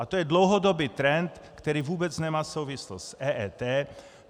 A to je dlouhodobý trend, který vůbec nemá souvislost s EET.